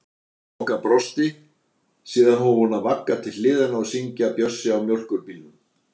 Bogga brosti, síðan hóf hún að vagga til hliðanna og syngja Bjössi á mjólkurbílnum